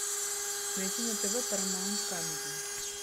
найти на тв парамаунт камеди